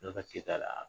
N'a ka kɛta la